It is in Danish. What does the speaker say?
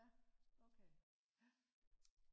ja okay ja